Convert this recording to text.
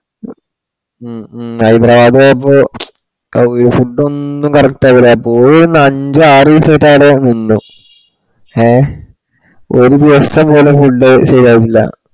ഹ്മ് ഹ്മ് ഹൈദരാബാദ്‌ പോയപ്പ food ഒന്നു correct ആക്കുല പോകുന്ന അഞ്ചാആറ് ദീസം ആറ്റോ അവിട നിന്ന് ഏഹ് ഒര് ദിവസം പോലു food ശെരിയാവുന്നില്ല